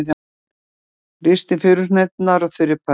Ristið furuhneturnar á þurri pönnu.